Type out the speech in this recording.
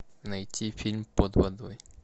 найти фильм под водой